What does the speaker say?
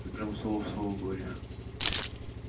ты прям слово в слово говоришь